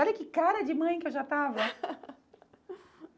Olha que cara de mãe que eu já estava!